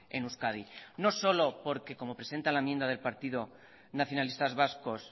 en euskadi no solo porque como presenta la enmienda del partido nacionalistas vascos